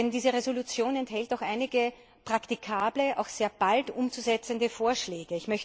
Denn diese Entschließung enthält doch einige praktikable, auch sehr bald umzusetzende Vorschläge.